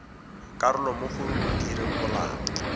karolo mo go direng molao